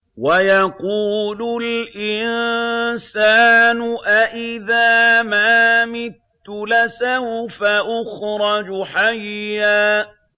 وَيَقُولُ الْإِنسَانُ أَإِذَا مَا مِتُّ لَسَوْفَ أُخْرَجُ حَيًّا